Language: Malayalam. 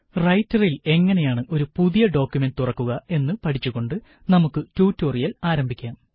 റൈറ്ററില് എങ്ങനെയാണ് ഒരു പുതിയ ഡോക്കുമന്റ് തുറക്കുക എന്ന് പഠിച്ചുകൊണ്ട് നമുക്ക് ട്യൂട്ടോറിയല് ആരംഭിക്കാം